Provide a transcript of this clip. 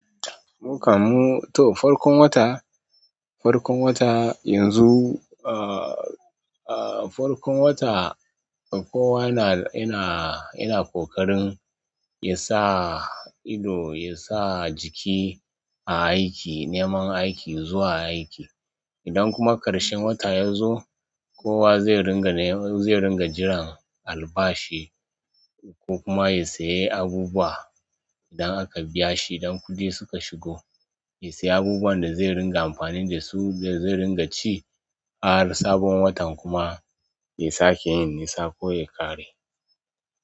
Farkon wata, farkon wata yanzu, ah ah farkon wata kowa yana, yana ƙoƙarin ya sa ido, ya sa jiki a aiki, neman aiki zuwa aiki. Idan kuma ƙarshen wata ya zo, kowa zai ringa, zai ringa jiran albashi ko kuma ya sayi abubuwa. Idan aka biyashi idan kuɗi suka shigo ya siya abunuwan da zai ringa amfani da su yazo ya ringa ci har sabon watan kuma ya sake yin nisa ko ya ƙare.